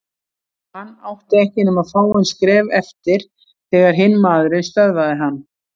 Hann átti ekki nema fáein skref eftir þegar hinn maðurinn stöðvaði hann.